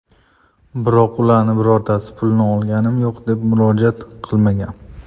Biroq ularning birortasi pulni olganim yo‘q deb murojaat qilmagan.